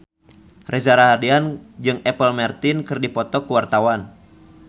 Reza Rahardian jeung Apple Martin keur dipoto ku wartawan